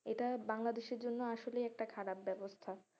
এটা বাংলাদেশের জন্য আসলে একটা খারাপ ব্যবস্থা,